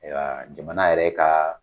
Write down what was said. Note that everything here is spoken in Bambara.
Ayiwa jamana yɛrɛ ka